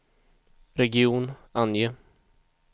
region, ange